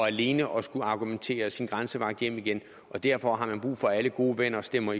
alene og argumentere at sin grænsevagt hjem igen og derfor har man brug for at alle gode venner istemmer